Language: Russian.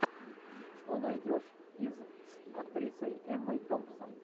что найдешь из с актрисой эммой томпсон